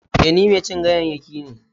E, ni mai cin ganyayyaki ne.